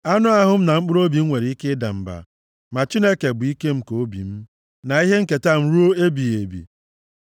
Anụ ahụ m na mkpụrụobi m nwere ike ịda mba, ma Chineke bụ ike nke obi m, na ihe nketa m ruo ebighị ebi.